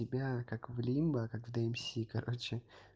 тебя так в лимбо как в дмс короче